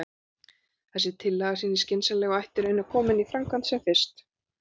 Þessi tillaga sýnist skynsamleg, og ætti að reyna að koma henni í framkvæmd sem fyrst.